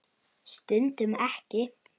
Stundum ekki.